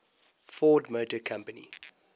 ford motor company